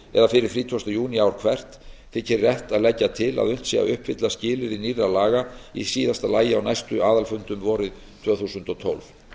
eða fyrir þrítugasta júní ár hvert þykir rétt að leggja til að unnt sé að uppfylla skilyrði nýrra laga í síðasta lagi á næstu aðalfundum vorið tvö þúsund og tólf